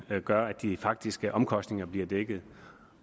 gør at de faktiske omkostninger blive dækket